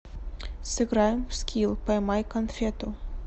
сыграем в скилл поймай конфету